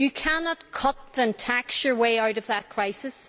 You cannot cut and tax your way out of that crisis.